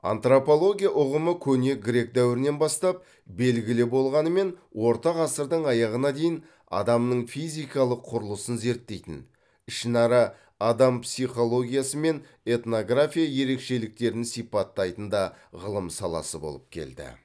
антропология ұғымы көне грек дәуірінен бастап белгілі болғанымен орта ғасырдың аяғына дейін адамның физикалық құрылысын зерттейтін ішінара адам психологиясы мен этнография ерекшеліктерін сипаттайтын да ғылым саласы болып келді